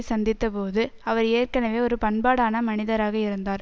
சந்தித்த போது அவர் ஏற்கனவே ஒரு பண்பாடான மனிதராக இருந்தார்